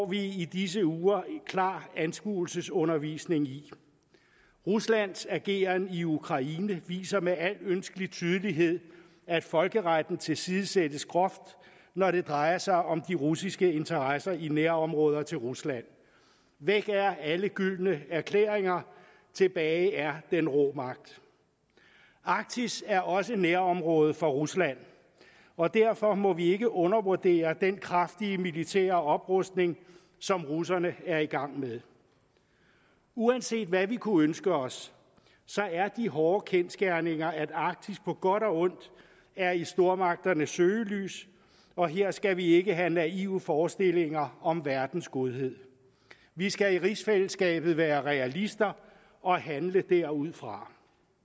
vi i disse uger klar anskuelsesundervisning i ruslands ageren i ukraine viser med al ønskelig tydelighed at folkeretten tilsidesættes groft når det drejer sig om de russiske interesser i nærområder til rusland væk er alle gyldne erklæringer tilbage er den rå magt arktis er også nærområde for rusland og derfor må vi ikke undervurdere den kraftige militære oprustning som russerne er i gang med uanset hvad vi kunne ønske os er de hårde kendsgerninger at arktis på godt og ondt er i stormagternes søgelys og her skal vi ikke have naive forestillinger om verdens godhed vi skal i rigsfællesskabet være realister og handle derudfra